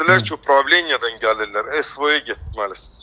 Bizi dedilər ki, upravleniyadan gəlirlər, SVO-ya getməlisiz.